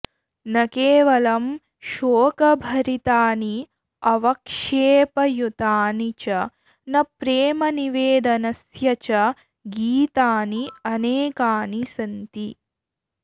न केवलं शोकभरितानि अवक्षेपयुतानि च न प्रेमनिवेदनस्य च गीतानि अनेकानि सन्ति